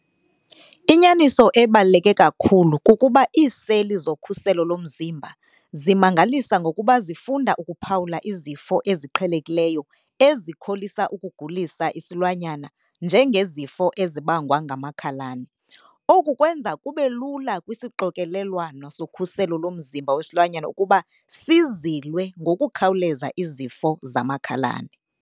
Inyaniso ebaluleke kakhulu kukuba iiseli zokhuselo lomzimba zimangalisa ngokuba zifunda ukuphawula izifo eziqhelekileyo ezikholisa ukugulisa isilwanyana njengezifo ezibangwa ngamakhalane. Oku kwenza kube lula kwisixokelelwano sokhuselo lomzimba wesilwanyana ukuba sizilwe ngokukhawuleza izifo zamakhalane.